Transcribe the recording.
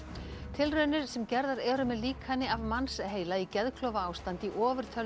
tilraunir sem gerðar eru með líkani af mannsheila í geðklofaástandi í